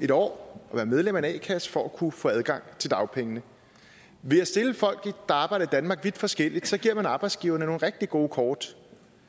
en år og være medlem af en a kasse for at kunne få adgang til dagpengene ved at stille folk der arbejder i danmark vidt forskelligt giver man arbejdsgiverne nogle rigtig gode kort